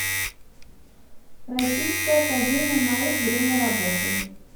российская академия наук время работы